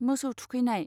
मोसौ थुखैनाय